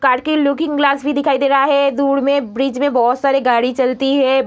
Car की looking glass भी दिखाई दे रहा है दूर में ब्रिज में बहुत सारी गाड़ी चलती है।